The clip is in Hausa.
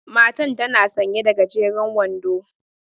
Matan tana sanƴe da gajeren wando.